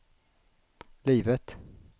livet